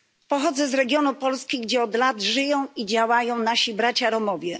Pochodzę z regionu Polski, gdzie od lat żyją i działają nasi bracia Romowie.